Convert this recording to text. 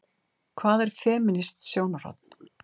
Hvað er femínískt sjónarhorn?